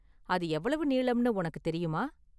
அது எவ்வளவு நீளம்னு உனக்கு தெரியுமா?